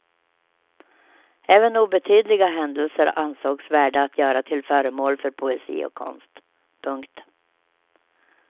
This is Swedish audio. Även obetydliga händelser ansågs värda att göra till föremål för poesi och konst. punkt